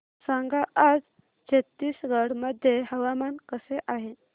सांगा आज छत्तीसगड मध्ये हवामान कसे आहे